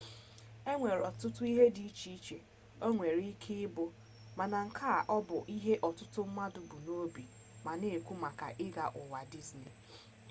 enwere otutu ihe di iche iche o nwere ike i bu mana nke a bu ihe otutu mmadu bu n'obi ma ha n'ekwu maka i ga uwa disney